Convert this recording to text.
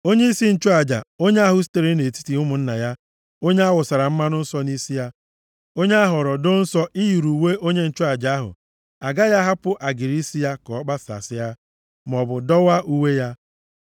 “ ‘Onyeisi nchụaja, onye ahụ sitere nʼetiti ụmụnna ya, onye awụsara mmanụ nsọ nʼisi ya, onye ahọrọ doo nsọ iyiri uwe onye nchụaja ahụ, agaghị ahapụ agịrị isi ya ka ọ kpasasịa, maọbụ dọwaa uwe ya.